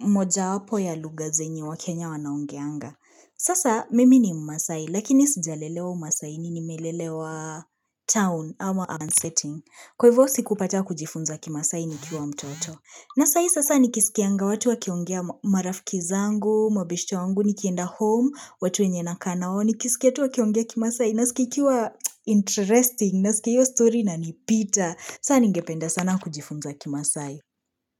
moja wapo ya lugha zenye wa Kenya wanaongeanga. Sasa mimi ni mmasai, lakini sijalelewa mmasai ni nimelelewa town urwan setting. Kwa hivyo sikupacha kujifunza kimasai ni kiwa mtoto. Na sai nikisikianga watu wakiongea marafiki zangu, mabeshte wangu, nikienda home, watu wenye na kanao, nikisikia tu wakiongea kimasai. Nasikikiwa interesting, nasikikiwa story na nipita. Saa ningependa sana kujifunza kimasai.